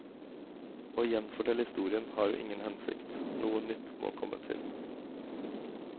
Å gjenfortelle historien har jo ingen hensikt, noe nytt må komme til.